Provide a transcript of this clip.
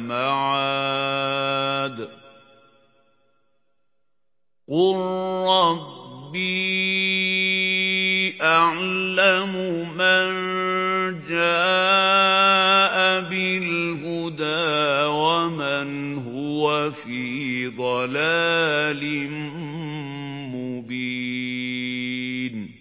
مَعَادٍ ۚ قُل رَّبِّي أَعْلَمُ مَن جَاءَ بِالْهُدَىٰ وَمَنْ هُوَ فِي ضَلَالٍ مُّبِينٍ